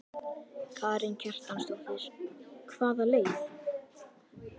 Karen Kjartansdóttir: Hvaða leið?